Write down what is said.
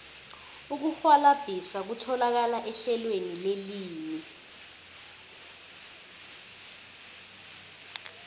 ukurhwalabhisa kutholakala ehlelweni lelimi